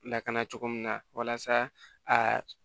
Lakana cogo min na walasa a